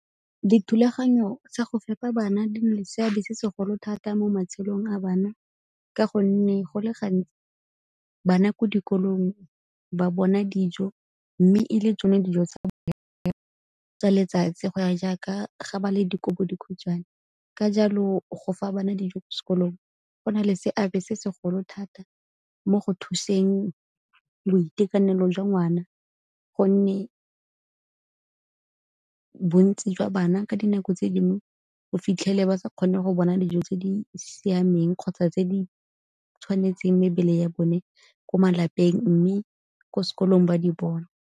Dithulaganyo tsa go fepa bana di na le seabe se segolo thata mo matshelong a bana, ka gonne go le gantsi bana ko dikolong ba bona dijo mme e le tsone dijo tsa ba tsa letsatsi go ya jaaka ga ba le dikobodikhutshwane. Ka jalo go fa bana dijo ko sekolong go na le seabe se segolo thata mo go thuseng boitekanelo jwa ngwana, gonne bontsi jwa bana ka dinako tse dingwe o fitlhele ba sa kgone go bona dijo tse di siameng kgotsa tse di tshwanetseng mebele ya bone ko malapeng mme ko sekolong ba di bona.